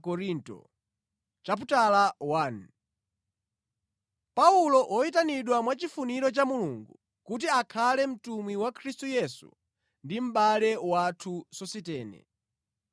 Paulo, woyitanidwa mwachifuniro cha Mulungu kuti akhale mtumwi wa Khristu Yesu ndi mʼbale wathu Sositene.